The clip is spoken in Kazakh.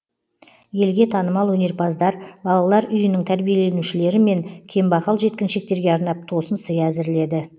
елге танымал өнерпаздар балалар үйінің тәрбиеленушілері мен кембағал жеткіншектерге арнап тосын сый әзірледі